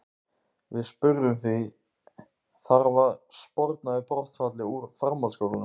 Við spurðum því, þarf að sporna við brottfalli úr framhaldsskólum?